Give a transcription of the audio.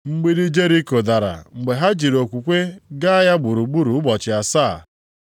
Mgbidi Jeriko dara mgbe ha jiri okwukwe gaa ya gburugburu ụbọchị asaa.